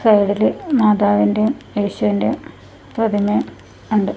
സൈഡില് മാതാവിന്റെയും യേശുവിന്റെയും പ്രതിമയും ഉണ്ട്.